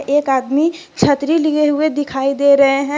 एक आदमी छत्री लिए हुए दिखाई दे रहे हैं।